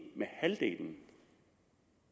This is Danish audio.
med halvdelen